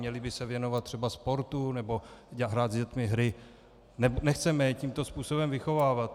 Měli by se věnovat třeba sportu nebo hrát s dětmi hry, nechceme je tímto způsobem vychovávat.